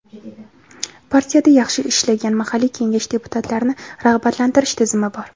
Partiyada yaxshi ishlagan mahalliy kengash deputatlarini rag‘batlantirish tizimi bor.